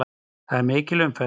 Það er mikil umferð.